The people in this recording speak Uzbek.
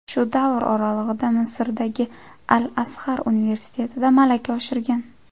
Shu davr oralig‘ida Misrdagi Al-Azhar universitetida malaka oshirgan.